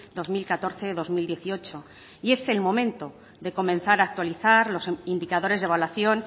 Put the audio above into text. dos mil catorce dos mil dieciocho y es el momento de comenzar a actualizar los indicadores de evaluación